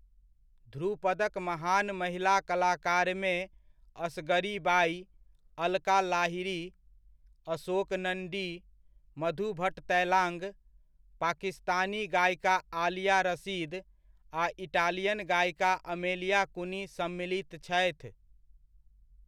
ध्रुपदक महान महिला कलाकारमे असगरी बाई, अलका लाहिरी, अशोक नण्डी, मधु भट्ट तैलाङ्ग, पाकिस्तानी गायिका आलिया रशीद, आ इटालियन गायिका अमेलिया कुनी सम्मिलित छथि।